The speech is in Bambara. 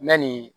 Yanni